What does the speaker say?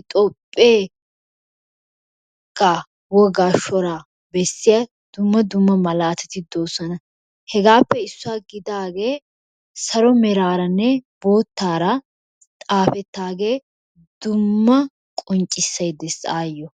Hitoopheegaa wogaa shoraa bessiya dumma dumma malaatati doosona. hegappe issuwa gidaage salo meraaranne boottaara xaafetaage dumma qonccissay dees ayyo.